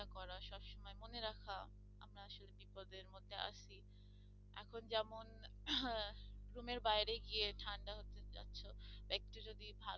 রুমের বাইরে গিয়ে ঠান্ডা হতে চাচ্ছো একটু যদি